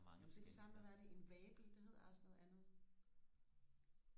nå men det er det samme med hvad er det en vabel det hedder også noget andet